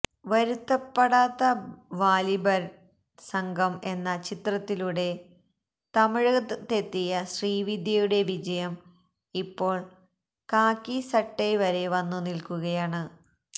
വരുത്തപ്പടാത്ത വാലിഭര് സംഘം എന്ന ചിത്രത്തിലൂടെ തമിഴകത്തെത്തിയ ശ്രീദിവ്യയുടെ വിജയം ഇപ്പോള് കാക്കി സട്ടൈ വരെ വന്നു നില്ക്കുകയാണ്